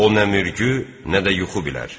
O nə mürgü, nə də yuxu bilər.